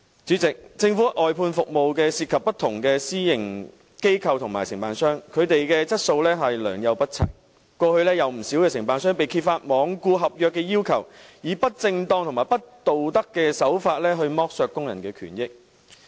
主席，政府外判服務涉及不同私營機構和承辦商，他們的質素良莠不齊，過去有不少承辦商被揭發罔顧合約要求，以不正當和不道德的手法剝削工人的權益。